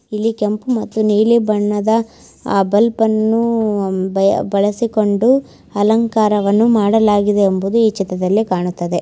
ಇಲ್ಲಿ ಕೆಂಪು ಮತ್ತು ನೀಲಿ ಬಣ್ಣದ ಬಲ್ಪು ಅನ್ನು ಬಳಸಿ ಕೊಂಡು ಅಲಂಕಾರವನ್ನು ಮಾಡಲಾಗಿದೆ ಎಂಬುದು ಈ ಚಿತ್ರದಲ್ಲಿ ಕಾಣುತ್ತಿದೆ.